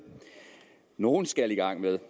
nogle skal i gang med